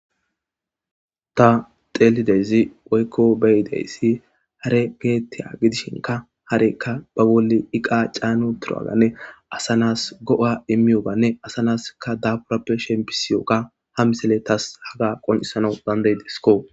ta xeelidezi woykko beyideyssi hare geettiya gidishinka harekka ba bolli iqa caanu turaganne asanas go7a immiyobanne asanaskka daburappe shempisiyokka ha misele tas haga qoncisanau bandey disiko